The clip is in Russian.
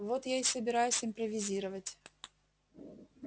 вот я и собираюсь импровизировать